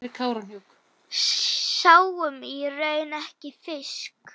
Sáum í raun ekki fisk.